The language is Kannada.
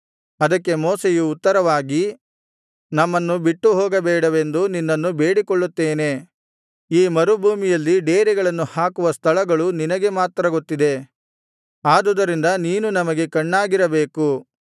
ಅದಕ್ಕೆ ಮೋಶೆಯು ಉತ್ತರವಾಗಿ ನಮ್ಮನ್ನು ಬಿಟ್ಟು ಹೋಗಬೇಡವೆಂದು ನಿನ್ನನ್ನು ಬೇಡಿಕೊಳ್ಳುತ್ತೇನೆ ಈ ಮರುಭೂಮಿಯಲ್ಲಿ ಡೇರೆಗಳನ್ನು ಹಾಕುವ ಸ್ಥಳಗಳು ನಿನಗೆ ಮಾತ್ರ ಗೊತ್ತಿದೆ ಆದುದರಿಂದ ನೀನು ನಮಗೆ ಕಣ್ಣಾಗಿರಬೇಕು